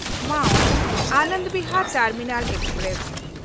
ᱢᱟᱣ-ᱟᱱᱚᱱᱫ Bihar terminal express